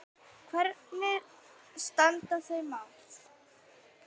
Hvernig standa þau mál?